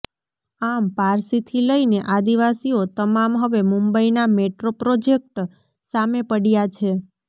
આમ પારસીથી લઇને આદિવાસીઓ તમામ હવે મુંબઇના મેટ્રો પ્રોજેક્ટ સામે પડ્યા છે